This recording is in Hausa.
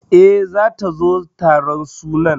E, zata zo taron sunan.